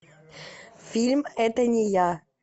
фильм это не я